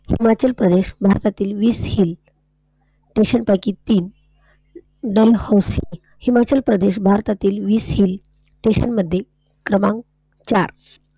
हिमाचल प्रदेश भारतातील वीस Hill Station पैकी तीन, दमहोस्त हिमाचल प्रदेश भारतातील वीस Hill मधील क्रमांक चार.